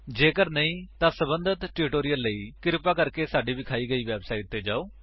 ਜੇਕਰ ਨਹੀਂ ਤਾਂ ਸੰਬੰਧਿਤ ਟਿਊਟੋਰਿਅਲ ਲਈ ਕ੍ਰਿਪਾ ਸਾਡੀ ਵਿਖਾਈ ਵੇਬਸਾਈਟ ਉੱਤੇ ਜਾਓ